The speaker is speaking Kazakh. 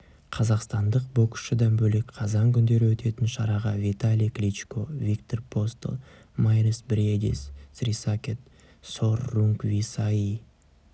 қазақстандық боксшыдан бөлек қазан күндері өтетін шараға виталий кличко виктор постол майрис бриедис срисакет сор рунгвисаи